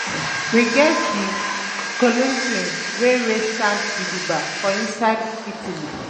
We get di Colosseum wey wey stand gidigba for inside Italy